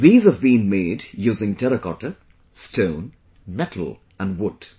These have been made using Terracotta, Stone, Metal and Wood